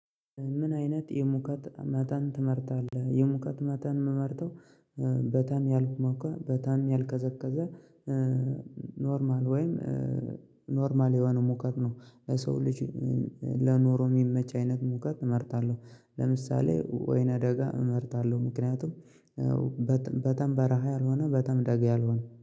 ምን አይነት የሙቀት መጠን ትመርታጣለህ የሙቀት መጠን ምመርተው በጣም ያልሞቀ በጣም ያልቀዘቀዘ ኖርማል ወይም ኖርማል የሆነ ሙቀት ነው። ሰው ልጅ ለኖሮ የሚመች አይነት ሙቀት እመርጣለሁ ለምሳሌ ወይና ደጋ እመርጣለሁ ምክንያቱም በጣም በረሃ ያልሆነ በጣም ደጋ ያልሆነ